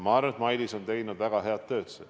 Ma arvan, et Mailis on teinud väga head tööd.